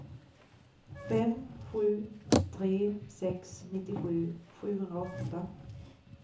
fem sju tre sex nittiosju sjuhundraåtta